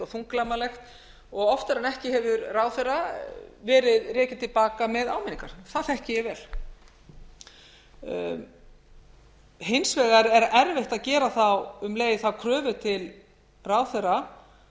þunglamalegt og oftar en ekki hefur ráðherra verið rekinn til baka með áminningar það þekki ég vel hins vegar er erfitt að gera þá um leið þá kröfu til ráðherra að